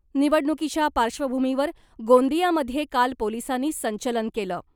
निवडणुकीच्या पार्श्वभूमीवर गोंदियामध्ये काल पोलिसांनी संचलन केलं .